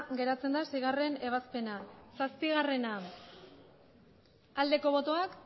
geratzen da seigarrena ebazpena zazpigarrena ebazpena aldeko botoak